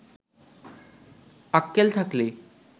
আক্কেল থাকলে